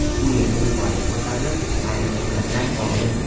U yerda yuqoriga ko‘tarilib, aerosuratlar oldi.